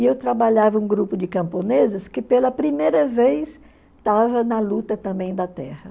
E eu trabalhava um grupo de camponeses que pela primeira vez estava na luta também da terra.